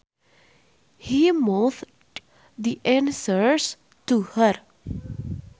He mouthed the answers to her